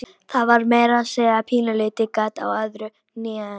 Það var meira að segja pínulítið gat á öðru hnénu.